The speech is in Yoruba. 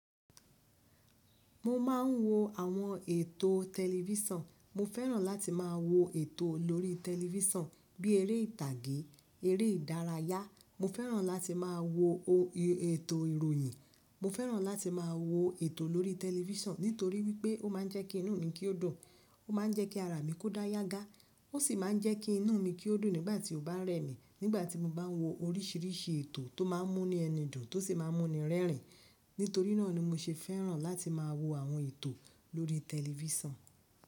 Mo máa ń wo àwọn ètò tẹlifíṣàn. Mo fẹ́ràn láti máa wo ètò lórí tẹlifísàn bí eré ìtàgé, eré ìdárayá. Mo fẹ́ràn láti máa wo ètò ìròyìn. Mo fẹ́ràn láti máa wo ètò lórí tẹlifísàn nítorí wípé ó máa ń jẹ́ kí inú mi kí ó dùn, ó máa ń jẹ́ kí ara mi kó dá yágá, ó sì máa ń jẹ́ kí inú mi kí ó dùn nígbà tí ó bá rẹ́ mi. Nígbà tí mo bá ń wo oríṣiríṣi ètò tó máa ń mú nu ẹni dùn tó sì máa ń mú ni rẹ́rìn. Nítorí náà ni mo ṣe fẹ́ràn láti máa wo àwọn ètò lórí tẹlifísàn.